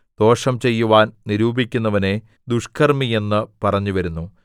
ദോഷം ചെയ്യുവാൻ നിരൂപിക്കുന്നവനെ ദുഷ്ക്കർമ്മി എന്ന് പറഞ്ഞുവരുന്നു